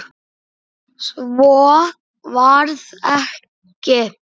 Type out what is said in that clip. Svo varð ekki.